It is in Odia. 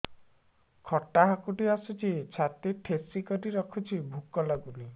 ଖଟା ହାକୁଟି ଆସୁଛି ଛାତି ଠେସିକରି ରଖୁଛି ଭୁକ ଲାଗୁନି